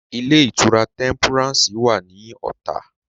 Ilé-ìtura Tẹ́ḿpúrànsì wà ní Ọ̀tà.